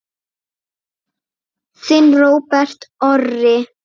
Þinn Róbert Orri.